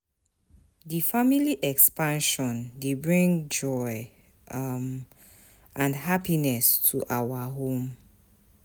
Di family expansion dey bring joy um and happiness to our home.